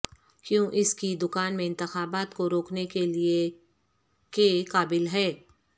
کیوں اس کی دکان میں انتخابات کو روکنے کے لئے کے قابل ہے